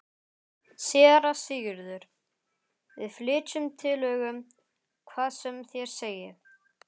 SÉRA SIGURÐUR: Við flytjum tillögu, hvað sem þér segið.